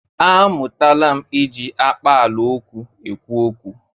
A mụtala m iji akpaala okwu ekwu okwu.